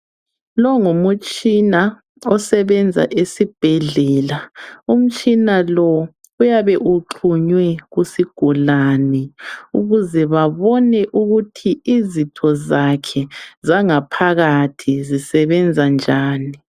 Lo ngumtshina osebenza esibhedlela. Umtshina lo uyabe uxhunywe kusigulane ukuze babone ukuthi izifo zakhe zangaphakathi zisebenza njani.